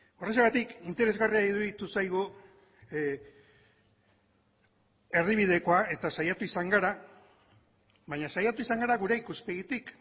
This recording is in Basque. horrexegatik interesgarria iruditu zaigu erdibidekoa eta saiatu izan gara baina saiatu izan gara gure ikuspegitik